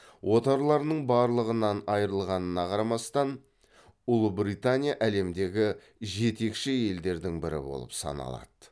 отарларының барлығынан айрылғанына қарамастан ұлыбритания әлемдегі жетекші елдердің бірі болып саналады